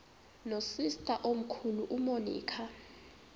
nosister omkhulu umonica